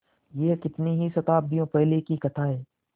यह कितनी ही शताब्दियों पहले की कथा है